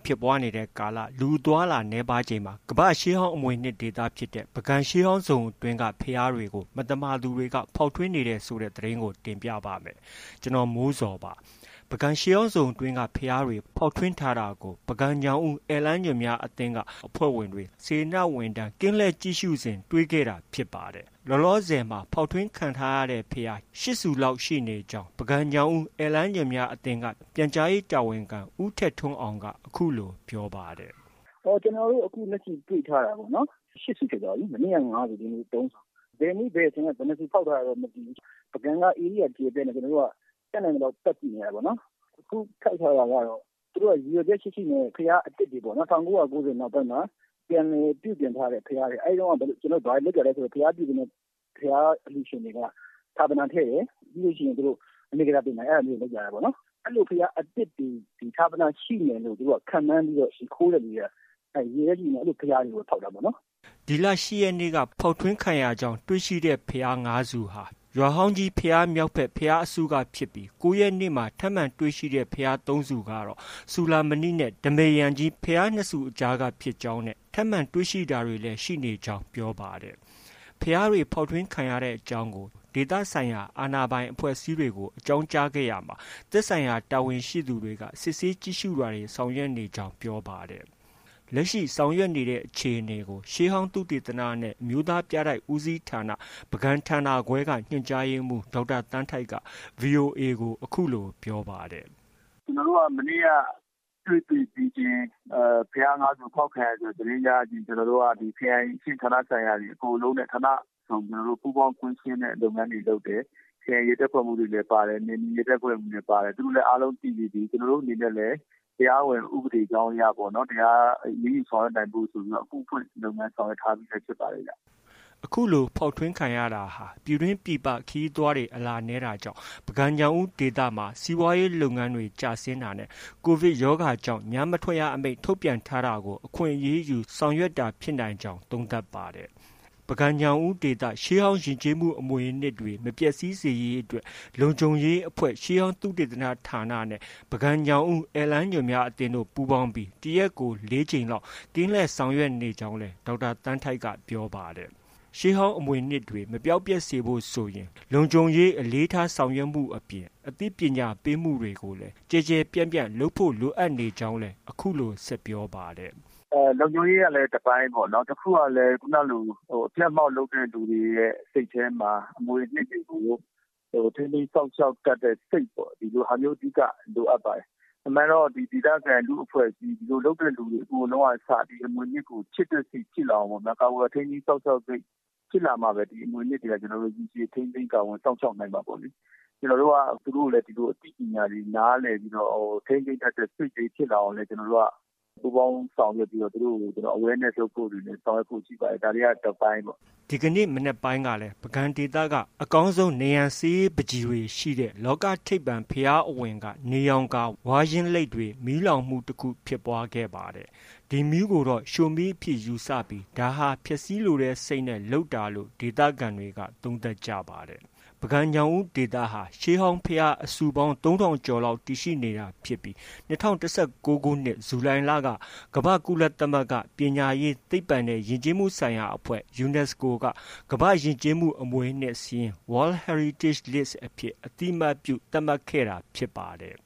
ဖြစ်ပွားနေတဲ့ကာလ လူအသွားအလာနည်းပါးချိန်မှာ ကမ္ဘာ့ရှေးဟောင်းအမွေအနှစ်ဒေသဖြစ်တဲ့ ပုဂံရှေးဟောင်းဇုန်အတွင်းက ဘုရားတွေကို မသမာသူတွေက ဖောက်ထွင်းနေတယ်ဆိုတဲ့သတင်းကို ဗွီအိုအေမြန်မာပိုင်းသတင်းထောက် ကိုမိုးဇော်က တင်ပြပေးပါမယ်။ ပုဂံရှေးဟောင်းဇုန်အတွင်းက ဘုရားတွေ ဖောက်ထွင်းထားတာကို ပုဂံ၊ ညောင်ဦး ဧည့်လမ်းညွှန်များ အသင်းက အဖွဲ့ဝင်တွေ စေတနာဝန်ထမ်း ကင်းလှည့်ကြည့်ရှုစဉ် တွေ့ရှိခဲ့တာဖြစ်ပါတယ်။ လောလောဆယ်မှာ ဖောက်ထွင်းခံထားရတဲ့ဘုရား ရှစ်ဆူလောက်ရှိနေကြောင်း ပုဂံ-ညောင်ဦး ဧည့်လမ်းညွှန်များ အသင်းက ပြန်ကြားရေးတာဝန်ခံ ဦးထက်ထွန်းအောင်က အခုလို ပြောပါတယ်။ “ကျနော်တို့ အခု လက်ရှိ တွေ့ထားတာပေါ့နော်။ ရှစ် ဆူဖြစ်သွားပြီ မနေ့က ငါးဆူ၊ ဒီနေ့ သုံးဆူ။ ဘယ်နေ့ ဘယ်အချိန်က ဘယ်နှစ်ဆူဖောက်ထားတာလဲတော့ မသိဘူး။ ပုဂံက ဧရိယာကျယ်ပြန့်တော့ ကျနော်တို့က တတ်နိုင်သလောက် ပတ်ကြည့်နေတာ။ အခုဖောက်ထားတာကတော့ သူတို့က ရည်ရွယ်ချက် ရှိရှိနဲ့ ဘုရား အသစ်တွေပေါ့နော်။ ၁၉၉၀ နောက်ပိုင်းမှာ ပြန်လည်ပြုပြင်ထားတဲ့ ဘုရားတွေ။ အဲဒီတုန်းက ဘာတွေလုပ်တာလဲဆို ဘုရားပြုပြင်တဲ့ ဘုရားအလှုရှင်တွေက ဌာပနာထည့်တယ်။ ပြီးလို့ရှိရင် အနေကဇာတင်တယ်ပေါ့နော်။ အဲဒါမျိုးတွေ လုပ်ကြတာပေါ့။ အဲလို ဘုရားအသစ်တွေ ဌာပနာရှိမယ်လို့ ခန့်မှန်းပြီးတော့ ခိုးတဲ့သူတွေက ရည်ရွယ်ချက်ရှိရှိနဲ့ အဲလို ဘုရားတွေကို ဖောက်တာပေါ့။” ဒီလ၈ရက်နေ့က ဖောက်ထွင်းခံရကြောင်း တွေ့ရှိတဲ့ ဘုရား ငါး ဆူဟာ ရွာဟောင်းကြီးဘုရား မြောက်ဘက် ဘုရားအစုကဖြစ်ပြီး ၉ ရက်နေ့မှာ ထပ်မံတွေ့ရှိတဲ့ဘုရား သုံး ဆူကတော့ စူဠာမဏိနဲ့ ဓမ္မရံကြီး ဘုရားနှစ်ဆူအကြားက ဖြစ်ကြောင်းနဲ့ ထပ်မံတွေ့ရှိတာတွေလည်း ရှိနေကြောင်း ပြောပါတယ်။ ဘုရားတွေ အဖောက်ခံရတဲ့အကြောင်းကို ဒေသဆိုင်ရာအာဏာပိုင်အဖွဲ့အစည်းတွေကို အကြောင်းကြားခဲ့ရာမှာ သက်ဆိုင်တာဝန်ရှိသူတွေက စစ်ဆေးကြည့်ရှုတာတွေ ဆောင်ရွက်နေကြောင်း ပြောပါတယ်။ လက်ရှိဆောင်ရွက်နေတဲ့အခြေအနေကို ရှေးဟောင်းသုတေသနနဲ့ အမျိုးသားပြတိုက်ဦးစီးဌာန ပုဂံဌာနခွဲက ညွှန်ကြားရေးမှူး ဒေါက်တာသန်းထိုက်က VOA ကို အခုလို ပြောပါတယ်။ “ကျနော်တို့က မနေ့က တွေ့ တွေ့ပြီးချင်း ဘုရား ငါး ဆူ အဖောက်ခံရတယ်ဆိုတဲ့ သတင်းရရချင်း ကျနော်တို့က ခရိုင်အဆင့် ဌာနဆိုင်ရာတွေအကုန်လုံးနဲ့ ဌာနစုံ ပူးပေါင်းကွင်းဆင်းတဲ့ လုပ်ငန်းတွေ လုပ်တယ်။ ခရိုင်ရဲတပ်ဖွဲ့မှူးတွေလည်း ပါတယ်။ နယ်မြေရဲတပ်ဖွဲ့မှူးတွေလည်း ပါတယ်။ သူတို့လည်း အားလုံး သိပြီးပြီ။ ကျနော်တို့အနေနဲ့လည်း တရားဝင် ဥပဒေကြောင်းအရ အရေးယူဆောင်ရွက်နိုင်ဖို့ဆိုပြီးတော့ အမှုဖွင့် လုပ်ငန်းဆောင်ရွက်ထားပြီးလည်း ဖြစ်ပါတယ်ဗျ။” အခုလို ဖောက်ထွင်းတာဟာ ပြည်တွင်း၊ ပြည်ပ ခရီးသွားတွေ အလာနည်းတာကြောင့် ပုဂံ၊ ညောင်ဦးဒေသမှာ စီးပွားရေးလုပ်ငန်းတွေ ကျဆင်းတာနဲ့ COVID ရောဂါကြောင့် ညမထွက်ရအမိန့် ထုတ်ပြန်ထားတာကို အခွင့်ကောင်းယူဆောင်ရွက်တာဖြစ်နိုင်ကြောင်း သုံးသပ်ပါတယ်။ ပုဂံ၊ ညောင်ဦးဒေသ ရှေးဟောင်းယဉ်ကျေးမှုအမွေအနှစ်တွေ မပျက်ဆီးစေရေးအတွက် လုံခြုံရေးအဖွဲ့၊ ရှေးဟောင်းသုတေသနဌာနနဲ့ ပုဂံ၊ညောင်ဦးဧည့်လမ်းညွှန်များအသင်းတို့ ပူးပေါင်းပြီး တစ်ရက်ကို ၄ ကြိမ်လောက် ကင်းလှည့်ဆောင်ရွက်နေကြောင်း ဒေါက်တာသန်းထိုက်က ပြောပါတယ်။ ရှေးဟောင်းအမွေအနှစ်တွေ မပျောက်ပျက်စေဖို့ ဆိုရင် လုံခြုံရေးအလေးထားမှုအပြင် အသိပညာပေးမှုတွေကို ကျယ်ကျယ်ပြန့်ပြန့်လုပ်ဖို့ လိုအပ်နေကြောင်းလည်း အခုလို ဆက်ပြောပါတယ်။ “လုံခြုံရေးကလည်း တစ်ပိုင်းပေါ့နော်။ တစ်ခုကလည်း ခုနကလို အဖျက်အမှောင့်လုပ်တဲ့ လူတွေရဲ့ စိတ်ထဲမှာ အမွေအနှစ်တွေကို ထိန်းသိမ်းစောင့်ရှောက်တတ်တဲ့ စိတ်ပေါ့။ ဒီလိုဟာမျိုး အဓိက လိုအပ်ပါတယ်။ အမှန်ကတော့ ဒေသခံ လူ့အဖွဲ့အစည်း ဒီလိုလုပ်တဲ့ လူတွေ အကုန်လုံးက အစ ချစ်တဲ့စိတ်ဖြစ်လာအောင်၊ ကာကွယ်ထိန်းသိမ်းစောင့်ရှောက်တဲ့စိတ် ဖြစ်လာမှပဲ ဒီအမွေအနှစ်တွေက ရေရှည်ထိန်းသိမ်း ကာကွယ်စောင့်ရှောက်နိုင်မှာပေါ့လေ။ ကျနော်တို့က သူတို့ကိုလည်း ဒီလို အသိပညာတွေနားလည်ပြီးတော့ ထိန်းသိမ်းတတ်တဲ့ စိတ်လေးဖြစ်လာအောင်လည်း ကျနော်တို့က ပူးပေါင်းဆောင်ရွက်ပြီးတော့ သူတို့ကို Awareness လုပ်ဖို့ ရှိပါတယ်။ ဒါတွေက တစ်ပိုင်းပေါ့။” ဒီကနေ့မနက်ပိုင်းကလည်း ပုဂံဒေသမှာ အကောင်းဆုံး နံရံဆေးရေးပန်းချီကားတွေ ရှိတဲ့ လောကထိပ်ပန်ဘုရားအဝင်မှာရှိတဲ့ နေရောင်ကာ ဝါးယင်းလိတ်တွေကို မီးလောင်မှုတစ်ခုဖြစ်ပွားခဲ့ပါတယ်။ ဒီမီးကိုတော့ ရှို့မီးအဖြစ်ယူဆပြီး ဒါဟာ ဖျက်ဆီးလိုတဲ့ စိတ်နဲ့ လုပ်တာလို့ ဒေသခံတွေက သုံးသပ်ကြပါတယ်။ ပုဂံ၊ ညောင်ဦးဒေသဟာ ရှေးဟောင်းဘုရားအဆူပေါင်း ၃,၀၀၀ ကျော်လောက် တည်ရှိနေတာဖြစ်ပြီး ၂၀၁၉ ခုနှစ် ဇူလိုင်လက ကုလသမဂ္ဂ ပညာရေး၊ သိပ္ပံနဲ့ ယဉ်ကျေးမှုဆိုင်ရာအဖွဲ့ UNESCO က ကမ္ဘာ့ယဉ်ကျေးမှု အမွေအနှစ်စာရင်း (World Heritage List) အဖြစ် အသိအမှတ်ပြု သတ်မှတ်ခဲ့တာဖြစ်ပါတယ်